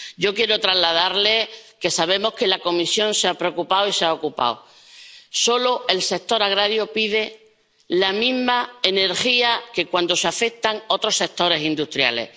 Yo quiero trasladarle que sabemos que la Comisión se ha preocupado y se ha ocupado. El sector agrario solo pide la misma energía que cuando los afectados son otros sectores industriales.